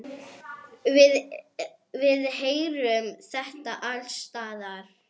Við heyrum þetta alls staðar.